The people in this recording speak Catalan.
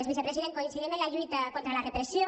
vicepresident coincidim en la lluita contra la repressió